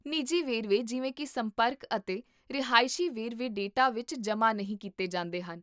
ਨਿੱਜੀ ਵੇਰਵੇ ਜਿਵੇਂ ਕੀ ਸੰਪਰਕ ਅਤੇ ਰਿਹਾਇਸ਼ੀ ਵੇਰਵੇ ਡੇਟਾ ਵਿੱਚ ਜਮ੍ਹਾਂ ਨਹੀਂ ਕੀਤੇ ਜਾਂਦੇ ਹਨ